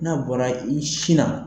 N'a bɔra i sinna;